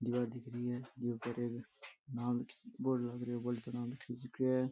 दिवार दिख री है दिवार पर नाम एक बोर्ड लाग रखो है बोर्ड पर नाम लिख रियो है।